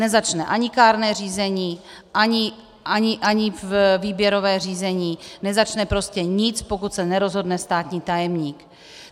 Nezačne ani kárné řízení, ani výběrové řízení, nezačne prostě nic, pokud se nerozhodne státní tajemník.